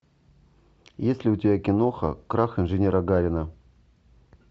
есть ли у тебя киноха крах инженера гарина